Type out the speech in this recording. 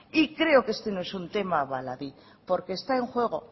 y creo que este no es un tema baladí porque está en juego